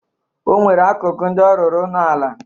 O nwere akụkụ ndị ọ rụrụ ụnọala.